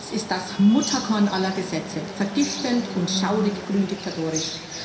Dieses Gesetz ist das Mutterkorn aller Gesetze vergiftend und schaurig grün diktatorisch.